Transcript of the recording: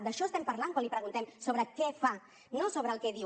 d’això estem parlant quan li preguntem sobre què fa no sobre el que diu